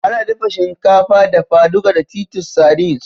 Ana dafa shinkafa dafa-duka da titus sardines